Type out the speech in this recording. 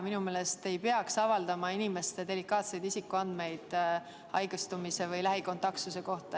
Minu meelest ei peaks avaldama inimeste delikaatseid isikuandmeid haigestumise või lähikontaktsuse kohta.